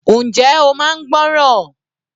Njẹ́ ó máa ń gbọ́ràn.